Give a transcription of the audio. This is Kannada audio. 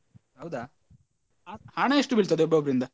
ಹೌದಾ ಹ~ ಹಣ ಎಷ್ಟು ಬೀಳ್ತದೆ ಒಬ್ಬೊಬ್ಬರಿಂದ?